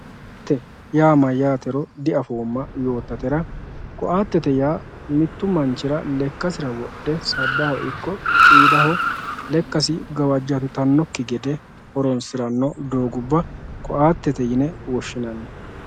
Koatte yaa mayyaatero diaffoma yootaterra koattete yaa mittu manchchira lekasira wodhe sabbaho iko qidaho leekassi gawajantanokki gedde hooronsiranno doggubba koattette yine woshinanni